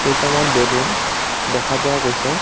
কেটামান বেলুন দেখা পোৱা গৈছে।